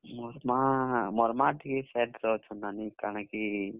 ମୋର ମାଁ ଟିକେ sad ଅଛେ ନାନୀ, ବେଲେ କାଣା କି।